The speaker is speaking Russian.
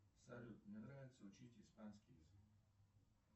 салют мне нравится учить испанский язык